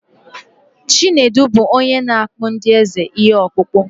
Chinedu bụ onye na-akpụrụ ndị eze ihe ọkpụkpụ.